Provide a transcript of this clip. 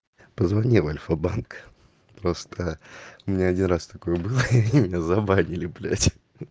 позвони в альфа-банк просто у меня один раз такое было и они меня забанили блять